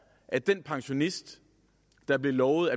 at den pensionist der blev lovet